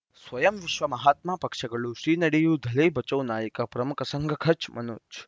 ಸ್ವಯಂ ವಿಶ್ವ ಮಹಾತ್ಮ ಪಕ್ಷಗಳು ಶ್ರೀ ನಡೆಯೂ ದಲೈ ಬಚೌ ನಾಯಕ ಪ್ರಮುಖ ಸಂಘ ಕಚ್ ಮನೋಜ್